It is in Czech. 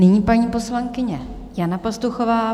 Nyní paní poslankyně Jana Pastuchová.